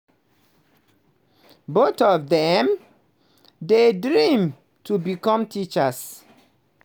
both of dem dey dream to become teachers.